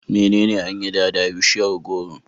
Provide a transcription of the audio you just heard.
Menene an yi da da bishiyar gworo?